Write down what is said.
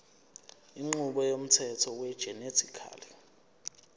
inqubo yomthetho wegenetically